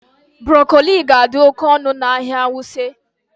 Broccoli ga-adị oke ọnụ n'ahịa Wuse